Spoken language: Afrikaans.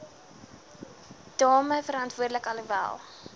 damme verantwoordelik alhoewel